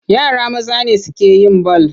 Yara maza ne suke yin bal.